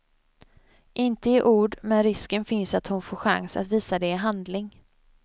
Inte i ord, men risken finns att hon får chans att visa det i handling.